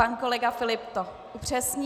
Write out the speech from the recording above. Pan kolega Filip to upřesní.